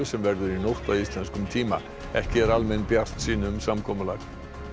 sem verður í nótt að íslenskum tíma ekki er almenn bjartsýni um samkomulag